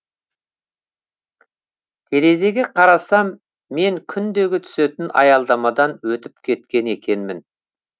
терезеге қарасам мен күндегі түсетін аялдамадан өтіп кеткен екенмін